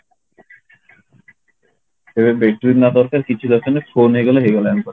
ଏଇନା battery ନା ଦରକାର ନା କିଛି ଦରକାର ନାହିଁ phone ହେଇଗଲେ ହେଇଗଲା ଆମ ପାଖରେ